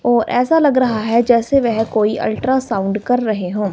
ओ ऐसा लग रहा है जैसे वह कोई अल्ट्रासाउंड कर रहे हों।